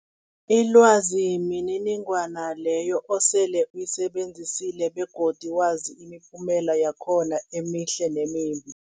Ilwazi mniningwana leyo osele uyisebenzisile begodu wazi imiphumela yakhona emihle nemimbi.